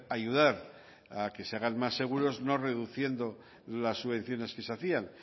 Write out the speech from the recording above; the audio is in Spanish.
ayudar a que se hagan más seguros no reduciendo las subvenciones que se hacían